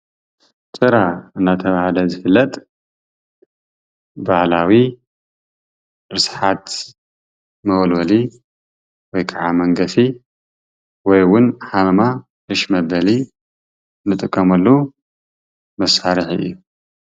ጭራ እናተባህለ ዝፈለጥ ባህላዊ ርስሓት መወልወሊ ወይከዓ መንገፊ ወይ እውን ሃመማ እሽ መበሊ ዝጥቀመሉ መሳርሒ እዩ።